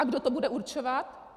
A kdo to bude určovat?